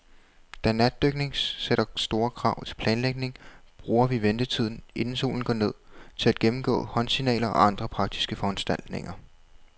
Da natdykning sætter store krav til planlægning, bruger vi ventetiden, inden solen går ned, til at gennemgå håndsignaler og andre praktiske foranstaltninger.